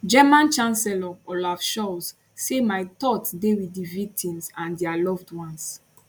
german chancellor olaf scholz say my thoughts dey wit di victims and dia loved ones